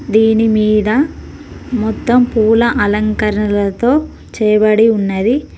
దీని మీద మొత్తం పూల అలంకరణతో చేయబడి ఉన్నది.